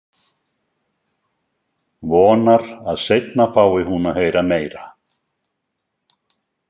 Vonar að seinna fái hún að heyra meira.